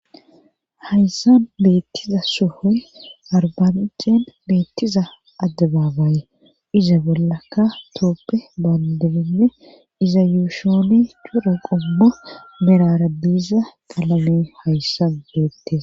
Hayssan beettiza sohoy arbancen beettiza addebaabaaye iza bollaka tooppe baandelinne iza yuushooni cura qummo mirara diiza qalame hayssan beettes.